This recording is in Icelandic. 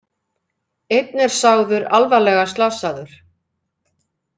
Einn er sagður alvarlega slasaður